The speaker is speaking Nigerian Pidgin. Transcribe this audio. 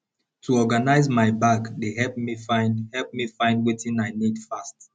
to organize my bag dey help me find help me find wetin i need fast